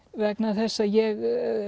vegna þess að ég